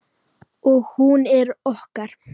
Og hún er okkar.